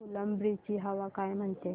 फुलंब्री ची हवा काय म्हणते